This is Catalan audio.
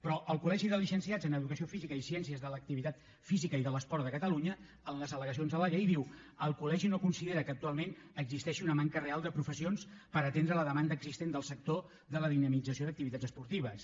però el col·legi de llicenciats en educació física i ciències de l’activitat física i de l’esport de catalunya a les al el col·legi no considera que actualment existeixi una manca real de professionals per atendre la demanda existent del sector de la dinamització d’activitats esportives